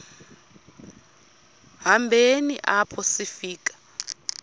hambeni apho sifika